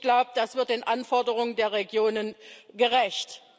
Ich glaube, das wird den Anforderungen der Regionen gerecht.